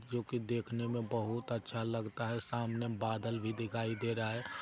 जो कि देखने मे बहुत अच्छा लगता है सामने बादल भी दिखाई दे रहा हैं।